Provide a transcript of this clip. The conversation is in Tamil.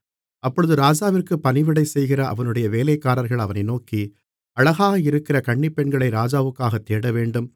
அப்பொழுது ராஜாவிற்குப் பணிவிடை செய்கிற அவனுடைய வேலைக்காரர்கள் அவனை நோக்கி அழகாக இருக்கிற கன்னிப்பெண்களை ராஜாவுக்காகத் தேடவேண்டும்